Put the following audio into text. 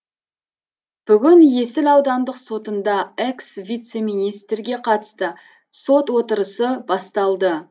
бүгін есіл аудандық сотында экс вице министрге қатысты сот отырысы басталды